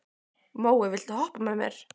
Móey, viltu hoppa með mér?